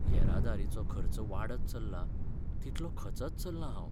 येरादारेचो खर्च वाडत चल्ला तितलो खचत चल्लां हांव.